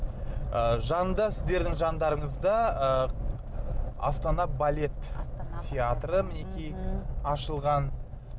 ы жанында сіздердің жандарыңызда ы астана балет театры мінекей мхм ашылған